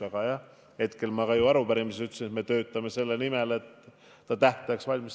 Aga jah, ma ütlesin ju ka arupärimises, et me töötame selle nimel, et Rail Baltic saaks tähtajaks valmis.